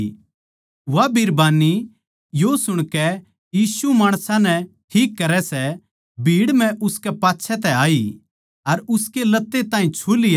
वा बिरबान्नी यो सुणकै यीशु माणसां नै ठीक करै सै भीड़ म्ह उसकै पाच्छै तै आई अर उसकै लत्ते ताहीं छू लिया